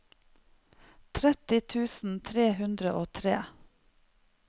tretti tusen tre hundre og tre